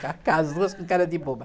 Cá cá, as duas com cara de boba.